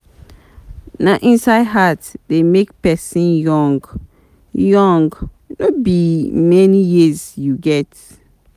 Na inside heart dey make person young, young, no be how many years you get.